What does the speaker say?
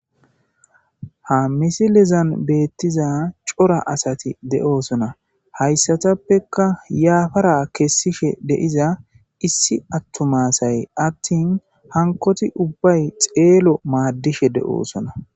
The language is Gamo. Ha missilezan bettiza coora asati de'ossona hayssatappeka yappara kessishe diza issi attuma asayi attin hankkoti ubbayi xellon madishe dossona.